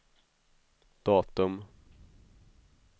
datum